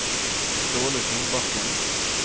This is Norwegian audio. Ståle Solbakken